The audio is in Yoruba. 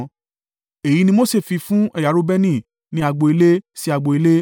Èyí ni Mose fi fún ẹ̀yà Reubeni ni agbo ilé sí agbo ilé,